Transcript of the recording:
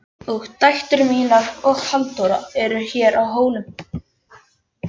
Og dætur mínar og Halldóra eru hér á Hólum.